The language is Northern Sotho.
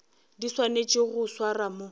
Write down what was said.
di swanetšego go swarwa mo